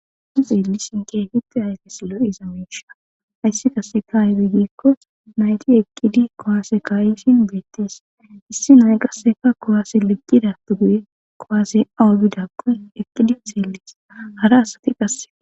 Nu xellishin Kehipe lo'iza Misha haysi Qaseka aybe nayti Eqidi kuwase ka'ishinBrtes issi Naya Qaseka kuwase Lepidape Guye Kuwasey awa bidako Eqidi xelles